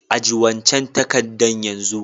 Ajie wancan takadan yanzun!